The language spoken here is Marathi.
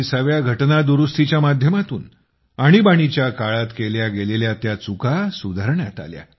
44 व्या घटनादुरुस्तीच्या माध्यमातून आणीबाणीच्या काळात केल्या गेलेल्या त्या चुका सुधारण्यात आल्या